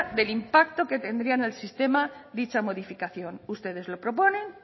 del impacto que tendría en el sistema dicha modificación ustedes lo proponen